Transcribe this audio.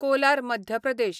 Kolar Madhya Pradesh